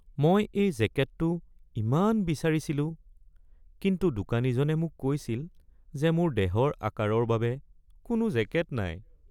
মই এই জেকেটটো ইমান বিচাৰিছিলো কিন্তু দোকানীজনে মোক কৈছিল যে মোৰ দেহৰ আকাৰৰ বাবে কোনো জেকেট নাই।